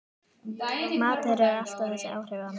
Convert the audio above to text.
Matur hefur alltaf þessi áhrif á mig